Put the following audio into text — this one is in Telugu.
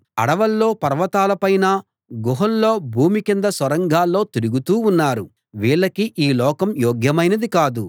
అడవుల్లో పర్వతాల పైనా గుహల్లో భూమి కింద సొరంగాల్లో తిరుగుతూ ఉన్నారు వీళ్ళకి ఈ లోకం యోగ్యమైనది కాదు